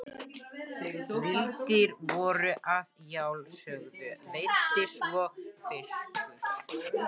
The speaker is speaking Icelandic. Villidýr voru að sjálfsögðu veidd svo og fiskur.